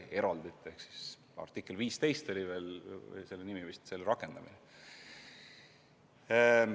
See puudutas vist artiklit 15 ja selle rakendamist.